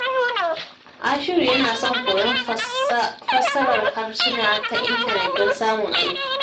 Ashiru yana son koyon fassarar harsuna ta intanet don samun aiki.